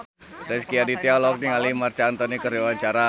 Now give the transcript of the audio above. Rezky Aditya olohok ningali Marc Anthony keur diwawancara